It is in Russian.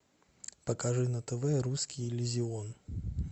покажи на тв русский иллюзион